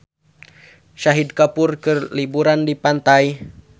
Shahid Kapoor keur liburan di pantai